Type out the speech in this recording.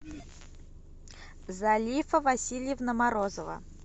залифа васильевна морозова